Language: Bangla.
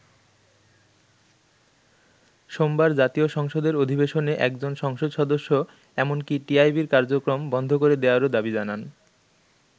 সোমবার জাতীয় সংসদের অধিবেশনে একজন সংসদ সদস্য এমনকি টিআইবির কার্যক্রম বন্ধ করে দেয়ারও দাবি জানান।